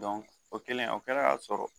o kɛlen o kɛra sɔrɔ